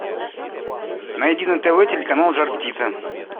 найди на тв телеканал жар птица